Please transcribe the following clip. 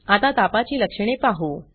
आता तापाची लक्षणे पाहू